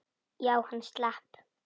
Já, hann slapp.